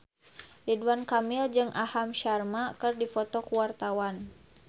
Ridwan Kamil jeung Aham Sharma keur dipoto ku wartawan